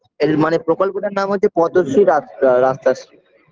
এল মানে প্রকল্পটার নাম হচ্ছে পতশী আ রাস্তাশ্রী